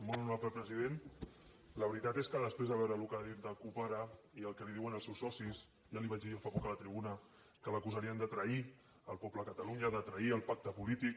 molt honorable president la veritat és que després de veure el que ha dit la cup ara i el que li diuen els seus socis ja li vaig dir jo fa poc a la tribuna que l’acusarien de trair el poble de catalunya de trair el pacte polític